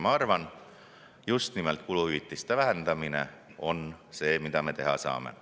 Ma arvan, et justnimelt kuluhüvitiste vähendamine on see, mida me teha saame.